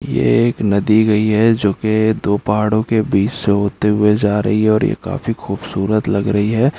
ये एक नदी गई है जो कि दो पहाड़ों के बीच से होते हुए जा रही है और ये काफी खूबसूरत लग रही है।